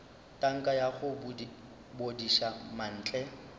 tanka ya go bodiša mantle